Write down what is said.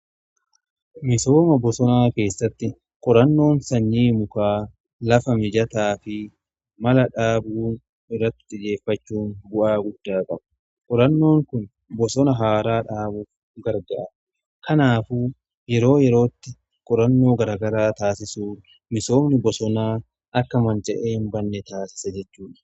Misooma bosonaa keessatti qorannoon sanyii mukaa lafa mijataa fi mala dhaabuu irratti xiyyeeffachuun bu'aa guddaa qabu. Qorannoon kun bosona haaraa dhaabuu gargaara kanaaf yeroo yerootti qorannoo gargaraa taasisuu misoomni bosonaa akka manca'ee hin banne taasisa jechuudha.